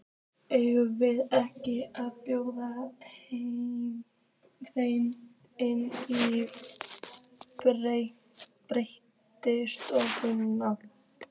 Eigum við ekki að bjóða þeim inn í betri stofuna?